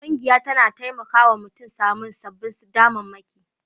Ƙungiya tana taimaka wa mutum samun sababbin damammaki